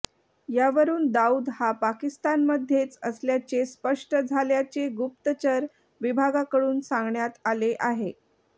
यावरून दाऊद हा पाकिस्तानमध्येच असल्याचे स्पष्ट झाल्याचे गुप्तचर विभागाकडून सांगण्यात आले आहे